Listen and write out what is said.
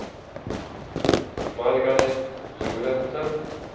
Margaret Lorentsen